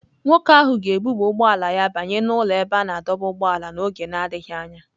Nwoke ahụ ga-ebuba ụgbọ ala ya banye n'ụlọ ebe a na-adọba ụgbọala n'oge na-adịghị anya.